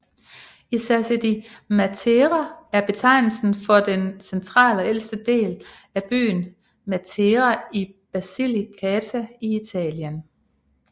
I Sassi di Matera er betegnelsen for den centrale og ældste del af byen Matera i Basilicata i Italien